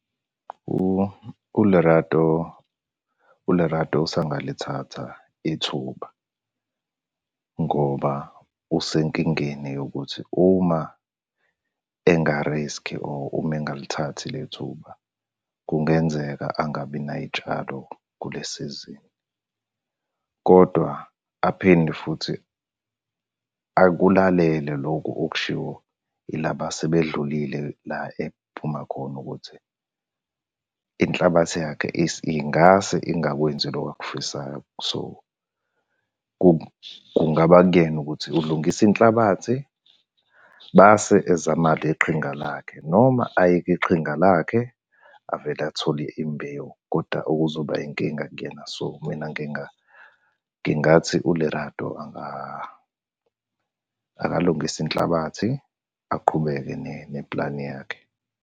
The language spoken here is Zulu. ULerato, uLerato usangalithatha ithuba ngoba usenkingeni yokuthi uma engariskhi or uma engalithathi le thuba, kungenzeka angabi nay'tshalo kule sizini, kodwa aphinde futhi akulalele loku okushiwo ilaba asebedlulile la ekuphuma khona ukuthi, inhlabathi yakhe ingase ingakwenzi loko akufisayo. So, kungaba kuyena ukuthi ulungisa inhlabathi base ezama le qhinga lakhe, noma ayeke iqhinga lakhe, avele athole imbewu, koda kuzoba inkinga kuyena. So mina ngingathi uLerato akalungise inhlabathi aqhubeke nepulani yakhe.